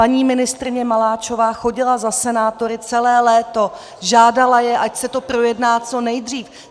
Paní ministryně Maláčová chodila za senátory celé léto, žádala je, ať se to projedná co nejdřív.